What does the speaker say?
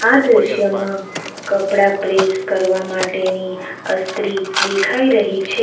આ દ્રશ્યમાં કપડાં પ્રેસ કરવા માટેની અસ્ત્રી દેખાઈ રહી છે.